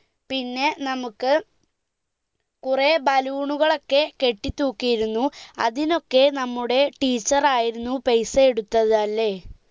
പിന്നെ നമുക്ക് കുറെ ബലൂണുകളൊക്കെ കെട്ടി തൂക്കിയിരുന്നു അതിനൊക്കെ നമ്മുടെ teacher ആയിരുന്നു പെയിസ എടുത്തത് അല്ലെ